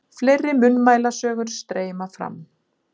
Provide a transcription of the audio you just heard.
Fleiri munnmælasögur streyma fram.